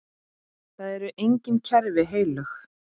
Það eru engin kerfi heilög.